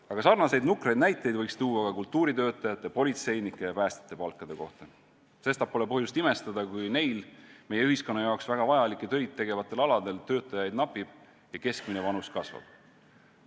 Aga sarnaseid nukraid näiteid võiks tuua ka kultuuritöötajate, politseinike ja päästjate palkade kohta, sestap pole põhjust imestada, kui neil, meie ühiskonna jaoks väga vajalikel aladel töötajaid napib ja keskmine vanus kasvab.